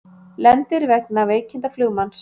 Lendir vegna veikinda flugmanns